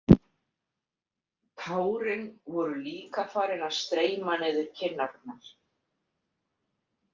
Tárin voru líka farin að streyma niður kinnarnar.